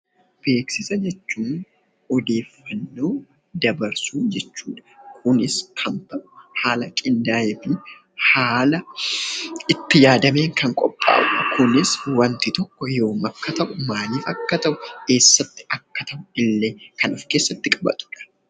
Beeksisa jechuun odeeffannoo dabarsuu jechuudha. Kunis haala qindaa'ee fi itti yaadamee kan qophaa'udha. Akkasumas illee wanti tokko akkamitti akka ta'e eessatti akka ta'ee fi Yoom akka ta'e kan of keessatti qabatudha.